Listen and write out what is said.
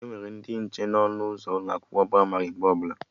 Enwere ndị nche na ọnụ ụzọ ụlọ akwụkwọ ndị pramarị mgbe ọbụla